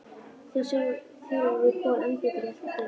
Nú þjálfum við Kol enn betur í að elta þjófa.